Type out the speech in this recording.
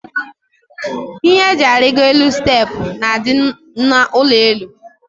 Ihe eji arigo elu steepụ na adị n' ụlọelu.